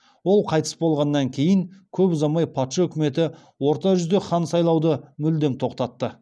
ол қайтыс болғаннан кейін көп ұзамай патша өкіметі орта жүзде хан сайлауды мүлдем тоқтатты